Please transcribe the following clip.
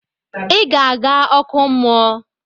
I ga aga oku mmuo!